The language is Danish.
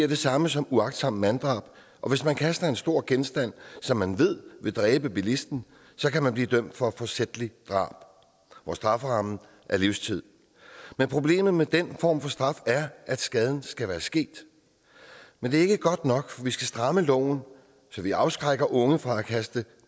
det samme som uagtsomt manddrab og hvis man kaster en stor genstand som man ved vil dræbe bilisten kan man blive dømt for forsætligt drab hvor strafferammen er livstid men problemet med den form for straf er at skaden skal være sket men det er ikke godt nok vi skal stramme loven så vi afskrækker unge fra at kaste